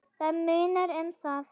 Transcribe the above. Það munar um það.